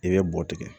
I bɛ bɔgɔ tigɛ